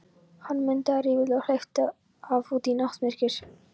Hann mundaði riffilinn og hleypti af út í náttmyrkrið.